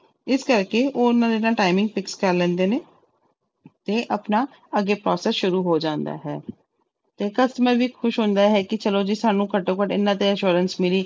ਇਸ ਕਰਕੇ ਉਹਨਾਂ ਦੇ ਨਾਲ timing fix ਕਰ ਲੈਂਦੇ ਨੇ ਤੇ ਆਪਣਾ ਅੱਗੇ process ਸ਼ੁਰੂ ਹੋ ਜਾਂਦਾ ਹੈ ਤੇ customer ਵੀ ਖ਼ੁਸ਼ ਹੁੰਦਾ ਹੈ ਕਿ ਚਲੋ ਜੀ ਸਾਨੂੰ ਘੱਟੋ ਘੱਟ ਇੰਨਾ ਤੇ assurance ਮਿਲੀ